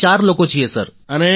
અમે ચાર લોકો છીએ સર